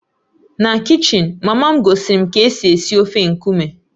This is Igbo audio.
Na kichin, mama m gosiri m ka esi esi ofe nkume